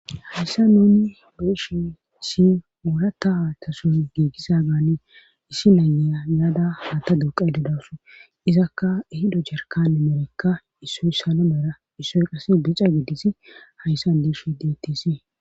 hayssa nuni biishe si urata tason giigisa gaane issi nayeya yaada ata duuqay dedasu izakka hido jarkane merekka issoy sana mera issoy qas bica giddisi hayssa diishe dtis